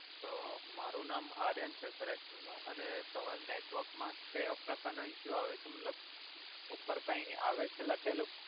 તો મારુ નામ આર્યન છે સર એક્ચુઅલમા અને તમારે નેટવર્ક મા ક્યો પ્રકાર નો ઇસ્સ્યુ આવે છે મતલબ ઉપર કાઇ આવે છે લખેલુ